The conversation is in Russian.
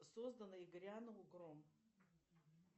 создано и грянул гром